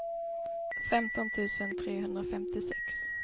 femton tusen trehundrafemtiosex